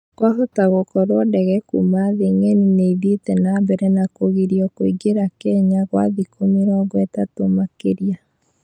Kwahoto gũkorwa ndege kuma thĩ ng'eni nĩithiete nambere nakũgirio kũigera Kenya gwa thikũ mĩrongo itatũ makeria